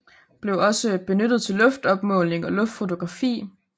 Blev også benyttet til luftopmåling og luftfotografi